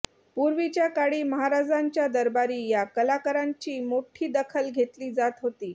पूर्वीच्या काळी महाराजांच्या दरबारी या कलाकरांची मोठी दखल घेतली जात होती